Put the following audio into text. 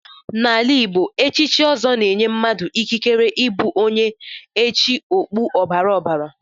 N'ala Igbo, echichi ọzọ na-enye mmadụ ikikere ịbụ onye echi okpu ọbara ọbara.